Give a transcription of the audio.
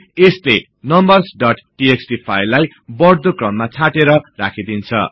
यसले numbers dot TXT फाईललाई बढ्दो क्रममा छाटेर राखिदिन्छ